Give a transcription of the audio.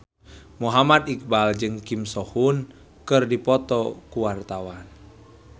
Muhammad Iqbal jeung Kim So Hyun keur dipoto ku wartawan